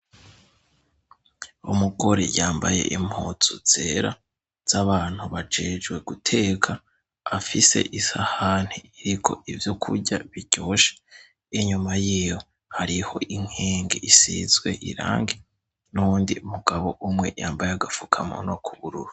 Umugore yambaye impuzu zera z'abantu bajejwe guteka afise isahani iriko ivyokurya biryoshe, inyuma yiwe hariho inkenge isizwe irangi n'uwundi mugabo umwe yambaye agafukamunwa k'ubururu.